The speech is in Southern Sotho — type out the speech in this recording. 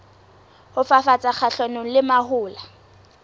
ho fafatsa kgahlanong le mahola